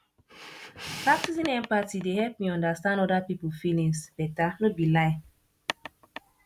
practicing empathy dey help me understand oda pipo feelings beta no be lie